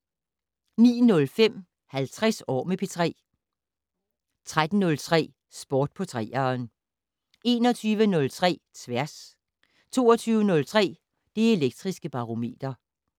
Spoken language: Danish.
09:05: 50 år med P3 13:03: Sport på 3'eren 21:03: Tværs 22:03: Det Elektriske Barometer